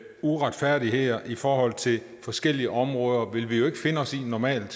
uretfærdigheder i forhold til forskellige områder vil vi jo ikke finde os i normalt